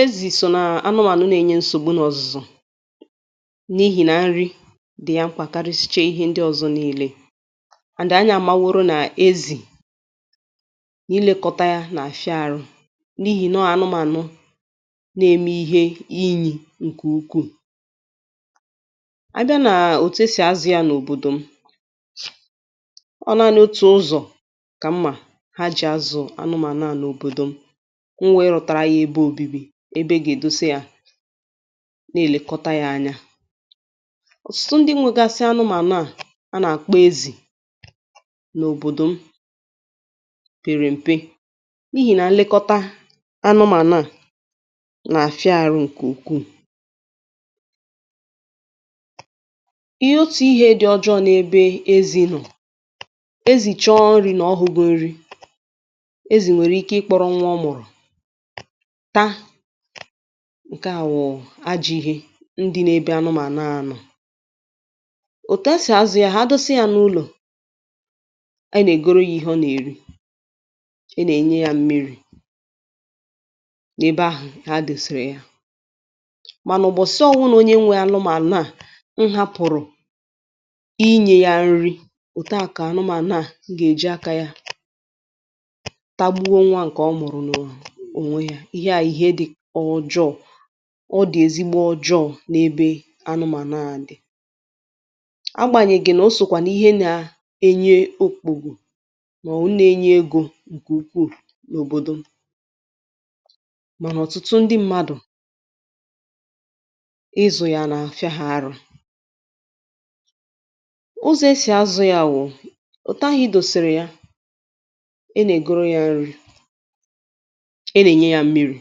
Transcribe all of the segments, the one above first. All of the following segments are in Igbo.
ezì sò nà anụmànụ na ẹnyẹ nsògbu nà ọ̀zụ̀zụ̀, n’ihì na nri dị̀ yà mkpà karisiche ihe ndị ọzọ̄ nille. and anyị amaworo nà ezì, nà ilēkọta ya nà àfịa arụ, n’ihì na ọ anụmanụ na eme ihe inyì ǹkẹ̀ ukwù. abịa nà òtù e sì azụ̄ ya n’òbòdò m, ọ naanị otu ụzọ̀ kà m mà ha jì azụ̀ anụmànụ à n’òbòdò m, m we rutara ya ebe obibi, ebe ọ gà èdose ya, nà èlekọta ya anya. ọ̀tụtụ ndị nwẹgasị anụmànụ à, ha nà àkpọ ezì n’òbòdò m pèrè m̀pe, n’ihì nà nlekọta anụmànụ à nà àfịa arụ ǹkè ukwù. ihẹ otù ihē dị ọjọọ̄ n’ebe ezī nọ̀, ezì chọ nrī nà ọ hụghị nri, ezì nwèrè ike ị kpọrọ nwa ọ mụ̀rụ̀ ta. ǹkẹ à wụ ajọ̄ ihe, ndị nọ ẹbẹ anụmànụ à nọ̀. òtù a sì azụ̄ ya, ha dosa ya n’ulò, a nà ègoro ya ihe ọ nà èri. a nà ènye ya mmirī nae be ahụ̀ ha dòsèrè ya, mànà m̀bọ̀sị ọbụnā onye nwere anụmànụ à hapụ̀rụ ịnyẹ̄ ya nri, òtu à kà anụmànụ à gà èji akā ya, tagbuo nwa ǹkẹ ọ mụ̀rụ̀ nà ònwe ya. ịhẹ à bụ̀ ihe dị ojọọ̄. ọ dị̀ ezigbo ọjọọ̄ n’ebe anụmànụ à dị. agbànyèghì nà o sòkwà n’ịhẹ na ẹnyẹ okpòrò, mà ọ̀ bụ nae nye egō ǹkè ukwù n’òbòdò m. mànà ọ̀tụtụ ndị mmadù, ịzụ̀ yà nà àfịa arụ. ụzọ̀ e sì azụ̄ ya wụ, òtù ahụ̄ ị dòsèrè ya, ị nà ègoro ya nri, ị nà ènye ya mmirī,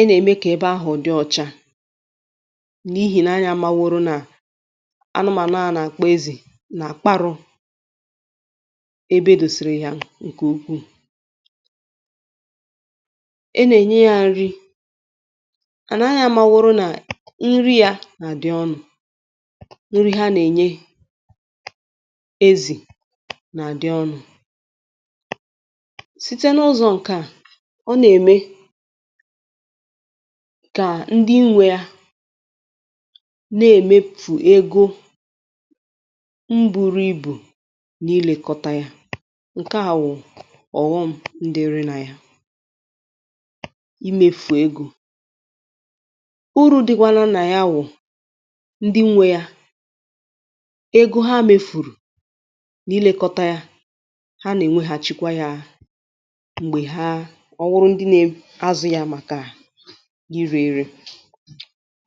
ị nà ème kà ebe ahụ̀ dị ọcha, n’ihì nà anyị amaworo nà anụmànụ à a nà àkpọ ezì, nà àkparụ̄ ebe e dèsèrè ya ǹkè ukwù. a nà ènye ya nri, and anyị a maworo nà nri ya nà àdị ọnụ̄, nri ha nà ènye ezì nà àdị ọnụ̄. sitẹ n’ụzọ̄ nkẹ à, o nà ème kà ndị nwe ya, nà èmefù ego m buru ibù n’ịlẹkọta ya. ǹkẹ à bụ̀ ọ̀ghọm dị nà ya, imēfu egō. urū dịkwanụ nad ya bụ̀, ndị nwe ya, ego ha mefù n’ilekọta ya, ha nà èweghàchikwa yā m̀gbè ha, ọ bụrụ nà ndị na azụ̄ ya màkà irē ere.